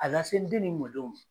A lase n den ni mɔdenw ma.